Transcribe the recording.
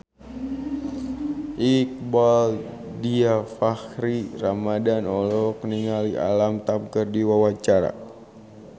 Iqbaal Dhiafakhri Ramadhan olohok ningali Alam Tam keur diwawancara